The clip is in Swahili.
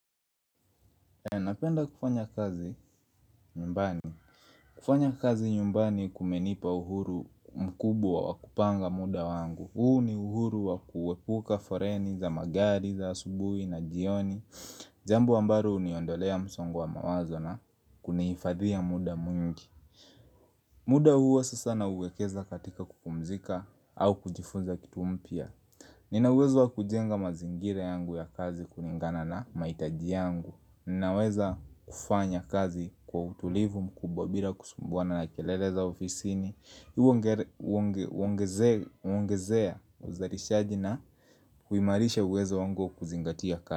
Napenda kufanya kazi nyumbani. Kufanya kazi nyumbani kumenipa uhuru mkubwa wa wakupanga muda wangu. Huu ni uhuru wa kuwepuka foreni za magari za asubuhi na jioni. Jambo ambalo uniondolea msongo wa mawazo na kuneifadhi ya muda mwingi. Muda huo sasa na uwekeza katika kukumzika au kujifunza kitu mpya. Nina uwezo wa kujenga mazingire yangu ya kazi kuningana na maitaji yangu. Naweza kufanya kazi kwa utulivu mkubwa bila kusumbuana na kelele za ofisini Uongezea uzarishaji na huimarisha uwezo wango kuzingatia kazi.